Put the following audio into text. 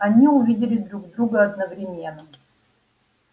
они увидели друг друга одновременно